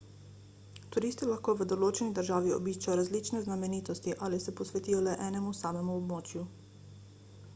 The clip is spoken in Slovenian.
turisti lahko v določeni državi obiščejo različne znamenitosti ali pa se posvetijo le enemu samemu območju